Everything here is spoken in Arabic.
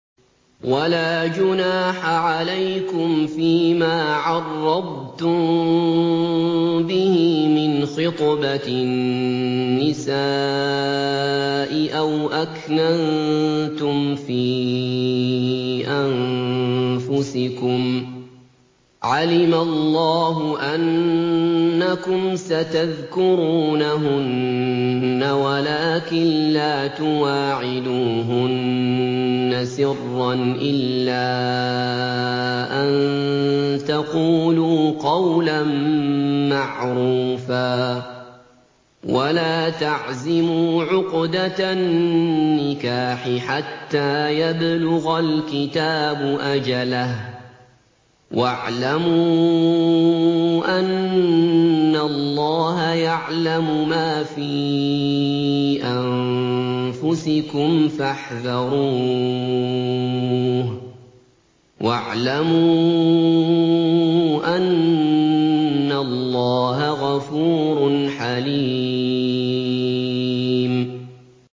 وَلَا جُنَاحَ عَلَيْكُمْ فِيمَا عَرَّضْتُم بِهِ مِنْ خِطْبَةِ النِّسَاءِ أَوْ أَكْنَنتُمْ فِي أَنفُسِكُمْ ۚ عَلِمَ اللَّهُ أَنَّكُمْ سَتَذْكُرُونَهُنَّ وَلَٰكِن لَّا تُوَاعِدُوهُنَّ سِرًّا إِلَّا أَن تَقُولُوا قَوْلًا مَّعْرُوفًا ۚ وَلَا تَعْزِمُوا عُقْدَةَ النِّكَاحِ حَتَّىٰ يَبْلُغَ الْكِتَابُ أَجَلَهُ ۚ وَاعْلَمُوا أَنَّ اللَّهَ يَعْلَمُ مَا فِي أَنفُسِكُمْ فَاحْذَرُوهُ ۚ وَاعْلَمُوا أَنَّ اللَّهَ غَفُورٌ حَلِيمٌ